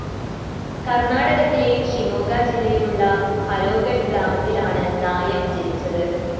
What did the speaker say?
കർണാടകത്തിലെ ഷിമോഗ ജില്ലയിലുള്ള ഹരോഗഡ് ഗ്രാമത്തിൽ ആണ് നായക് ജനിച്ചത്.